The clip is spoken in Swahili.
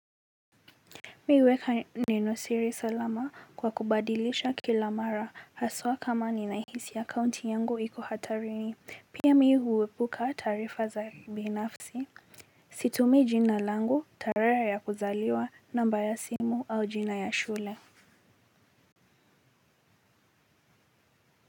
Mimi huweka nenosiri salama kwa kubadilisha kila mara haswa kama ninahisi akaunti yangu hiko hatarini pia mimi huepuka taarifa za binafsi. Situmii jina langu tarehe ya kuzaliwa namba ya simu au jina ya shule.